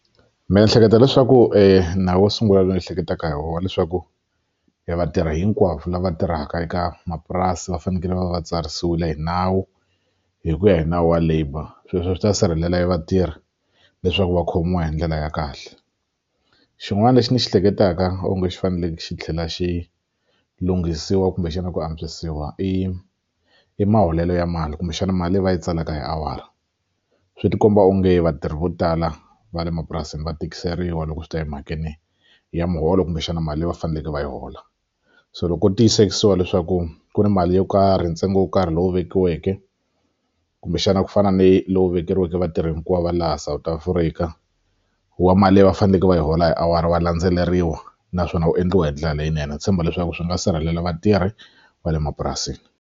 Ndzi ehleketa leswaku nawu wo sungula ndzi ehleketaka hi wona leswaku evatirhi hinkwavo lava tirhaka eka mapurasi va fanekele va va va tsarisiwile hi nawu hi ku ya hi nawu wa labour sweswo swi ta sirhelela vatirhi leswaku va khomiwa hi ndlela ya kahle xin'wana lexi ni xi hleketaka onge xi fanekele xi tlhela xi lunghisiwa kumbexana ku antswisiwa i i maholelo ya mali kumbexana mali leyi va yi tsalaka hi awara swi ti komba onge vatirhi vo tala va le mapurasini va tikiseriwe loko swi ta emhakeni ya muholo kumbexana mali leyi va faneleke va yi hola so loko ko tiyisisiwa leswaku ku ni mali yo karhi ntsengo wo karhi lowu vekiweke kumbexana ku fana ni lowu vekeriweke vatirhi hinkwavo va laha South Africa wa mali leyi va faneleke va yi hola hi awara wa landzeleriwa naswona wu endliwa hi ndlela leyinene ni tshemba leswaku swi nga sirhelela vatirhi va le mapurasini.